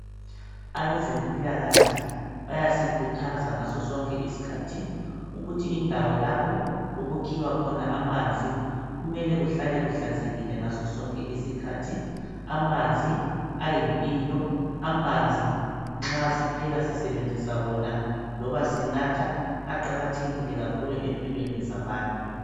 Abeze mpilakahle bayasikhuthaza ngaso sonke isikhathi ukuthi indawo lapho okukhiwa khona amanzi kumele akuhlale kuhlanzekile ngaso sonke isikhathi amanzi ayimpilo amanzi nxa sipheka sisebenzisa wona loba sinatha aqakathekile kakhulu empilweni zabantu.